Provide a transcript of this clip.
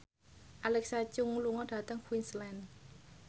Alexa Chung lunga dhateng Queensland